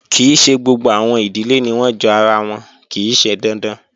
Kii ṣe gbogbo awọn idile ni wọn jo ara wọn, kii ṣe dandan